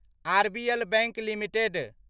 RBL bank limited